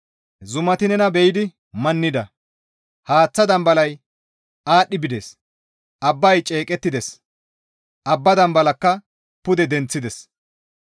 Zumati nena be7idi mannida; Haaththaa dambalay aadhdhi bides; abbay ceeqettides; abbaa dambalakka pude denththides.